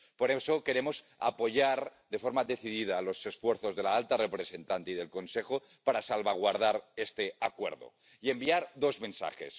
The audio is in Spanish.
Por eso, queremos apoyar de forma decidida los esfuerzos de la alta representante y del Consejo para salvaguardar este acuerdo y enviar dos mensajes.